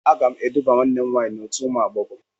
Aga m eduba nwanne m nwaanyị n'otu ụmụ agbọghọ.